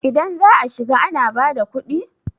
idan za a shiga ana bada kudi?